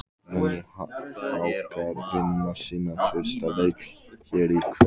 Munu Haukar vinna sinn fyrsta leik hér í kvöld?